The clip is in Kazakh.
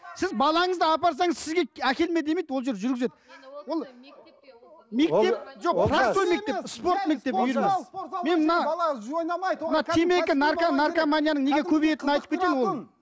сіз балаңызды апарсаңыз сізге әкелме демейді ол жер жүргізеді